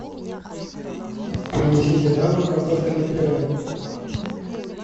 принесите на дом картофельное пюре